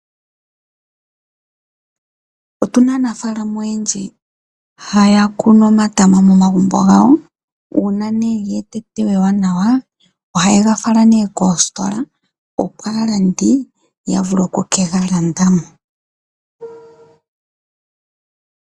Otuna aanafaalama oyendji haya kunu omatama momagumbo gawo. Uuna nee geeta eteyo ewanawa oha ye ga fala nee koositola opo aalandi yavule oku kega landa mo.